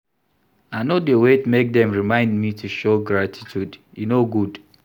I no dey wait make dem remind me to show gratitude, e no good.